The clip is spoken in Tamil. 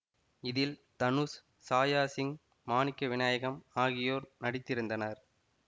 இதில் தனுஷ் சாயா சிங் மாணிக்க விநாயகம் ஆகியோர் நடித்திருந்தனர்